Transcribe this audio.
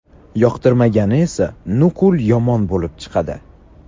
yoqtirmagani esa nuqul yomon bo‘lib chiqadi.